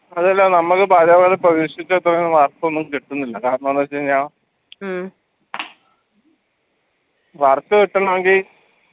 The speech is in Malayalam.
അതുവല്ല നമുക്ക് പല പല work ഒന്നും കിട്ടുന്നില്ല കാരണമെന്ന് വെച്ചുകഴിഞ്ഞാ work കിട്ടണങ്കി